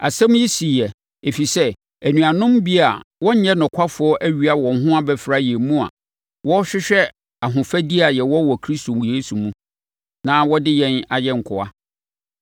Asɛm yi siiɛ, ɛfiri sɛ anuanom bi a wɔnyɛ nokwafoɔ awia wɔn ho abɛfra yɛn mu a wɔrehwehwɛ ahofadie a yɛwɔ wɔ Kristo Yesu mu, na wɔde yɛn ayɛ nkoa.